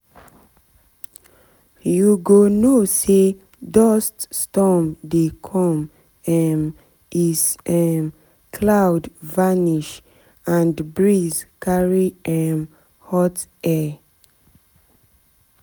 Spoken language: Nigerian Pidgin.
you go know say dust storm dey come um is um cloud vanish and breeze carry um hot air